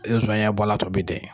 I bɛ zɔnɲɛ bɔ a la a tɔ bɛ dɛn